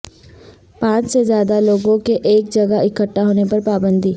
پانچ سے زیادہ لوگوں کے ایک جگہ اکھٹا ہونے پر پابندی